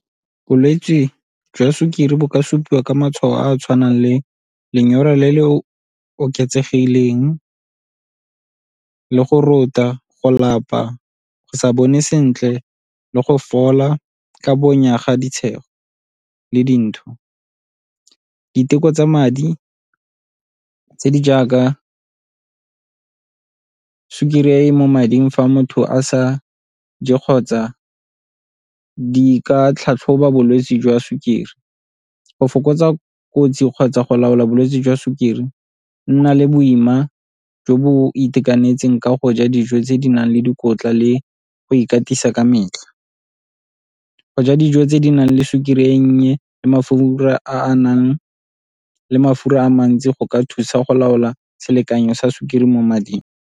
Bolwetse jwa sukiri bo ka supiwa ka matshwao a a tshwanang le lenyora le le oketsegileng le go rota, go lapa, go sa bone sentle le go fola ka bonya ga le dintho. Diteko tsa madi tse di jaaka sukiri e e mo mading fa motho a sa je kgotsa di ka tlhatlhoba bolwetse jwa sukiri. Go fokotsa kotsi kgotsa go laola bolwetse jwa sukiri, nna le boima jo bo itekanetseng ka go ja dijo tse di nang le dikotla le go ikatisa ka metlha. Go ja dijo tse di nang le sukiri e nnye le mafura a a nang le mafura a mantsi go ka thusa go laola selekanyo sa sukiri mo mading.